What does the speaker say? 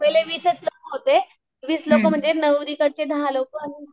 पहिले वीसच लोकं होते वीस लोकं म्हणजे नावरीकडचे दहा लोकं आणि